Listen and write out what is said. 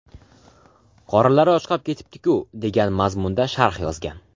Qorinlari ochqab ketibdi-ku” degan mazmunda sharh yozgan.